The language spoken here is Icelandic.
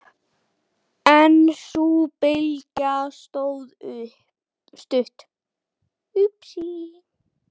En sú bylgja stóð stutt.